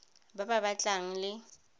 ba ba tla tlang le